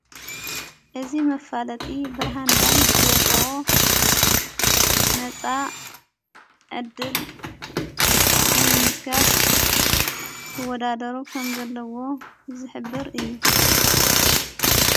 እዝ መፋለጢ ብርሃን ባንክ ዘውፅ ነፃ ዕድል ንምምዝጋብ ልወዳደሩ ከም ዘለዎ ዘኅብር እዩ።